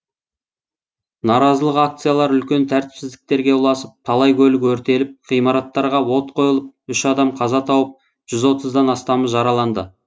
наразылық акциялары үлкен тәртіпсіздіктерге ұласып талай көлік өртеліп ғимараттарға от қойылып үш адам қаза тауып жүз отыздан астамы жараланды